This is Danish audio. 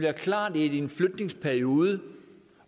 er klart at i en flytningsperiode